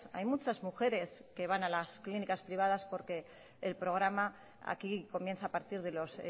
hay muchas mujeres que van a las clínicas privadas porque el programa aquí comienza a partir de los